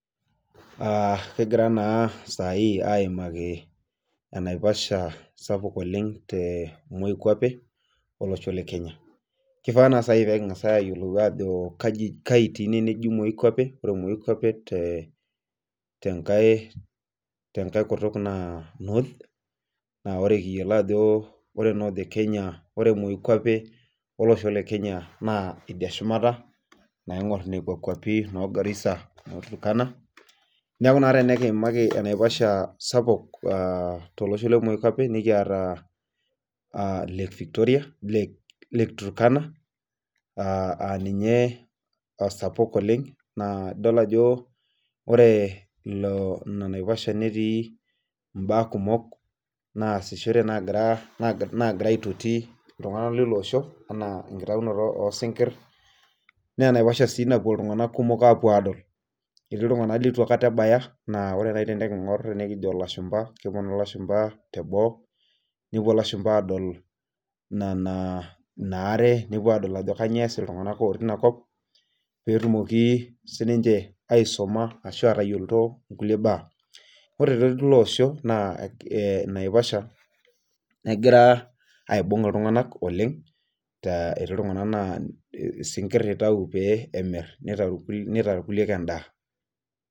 Aa kegira na sai aimaki enaiposha sapuk oleng rempi kwapi olosho le Kenya kifaa pekiyiolo ajo kai eji moikwapi tenkae kutuk na north idia shumata naingir nekwa kwapi na no garisa no turkana neaky tenekiimaki enaiposha sapuk temoi kwapi nikiata lake turkana aa ninye esapuk oleng naidol ajo ore inanaiposha netii mbaa kumok nagira aitoti ltunganak lilo osho ana entaunoto osinkir na enaiposha si epuo ltunganak kumok apuo adol etii ltunganak litu akata ebaya keponu lashumba tenoo nepuo lashumba adol inaare nepuo adol ajo kanyio eas ltunganak linakop petumoki atayioloto nkulie baa ore tilo osho na naiposha negira aibung ltunganak oleng etii ltunganak na si kir itau pemir nitau irkulie endaa.